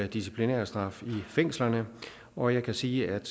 disciplinærstraffe i fængslerne og jeg kan sige at